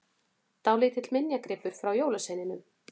Dálítill minjagripur frá jólasveininum!